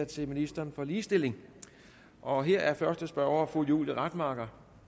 til ministeren for ligestilling og her er første spørger fru julie rademacher